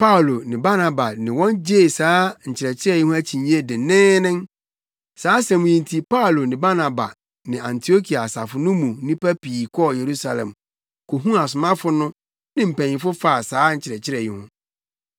Paulo ne Barnaba ne wɔn gyee saa nkyerɛkyerɛ yi ho akyinnye denneennen. Saa asɛm yi nti Paulo ne Barnaba ne Antiokia asafo no mu nnipa bi kɔɔ Yerusalem kohuu asomafo no ne mpanyimfo faa saa nkyerɛkyerɛ yi ho.